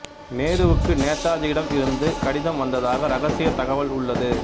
நேருவுக்கு நேதாஜியிடம் இருந்து கடிதம் வந்ததாக இரகசியத் தகவல் உள்ளது